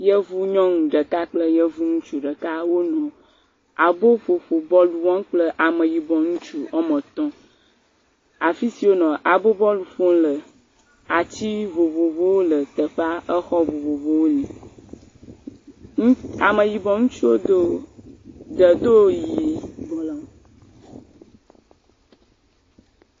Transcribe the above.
Yevu nyɔnu ɖeka kple Yevu ŋutsu ɖeka wole aboƒoƒo bɔlu wɔm kple Ameyibɔ ŋutsu woame tɔ̃. Afi si wole abo bɔlu ƒom le, atsi vovovowo le teƒea. Exɔ vovovowo le. Ŋu, Ameyibɔ ŋutsuwo do, ɖe doo, yiii bɔ le ŋu